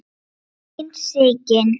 Þín Sigyn.